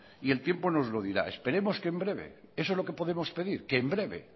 y el tiempo nos lo dirá esperemos que en breve eso es lo que podemos pedir que en breve